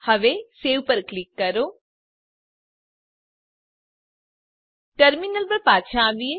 હવે સવે પર ક્લિક કરો ટર્મીનલ પર પાછા આવીએ